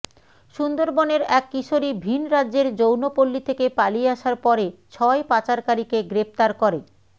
সুন্দরবনের এক কিশোরী ভিন্ রাজ্যের যৌনপল্লি থেকে পালিয়ে আসার পরে ছয় পাচারকারীকে গ্রেফতার করে